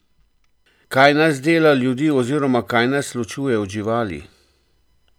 Kaj nas dela ljudi oziroma kaj nas ločuje od živali?